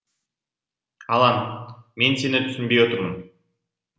алан мен сені түсінбей тұрмын